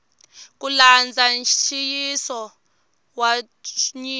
ku landza nxiyisiso wa nyiko